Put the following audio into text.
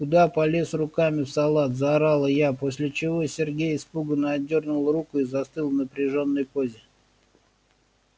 куда полез руками в салат заорала я после чего сергей испуганно отдёрнул руку и застыл в напряжённой позе